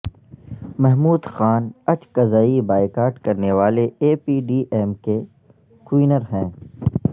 Mahmood Khan Achakzai boycott کرنے والے A P D M کے کنوینر ہیں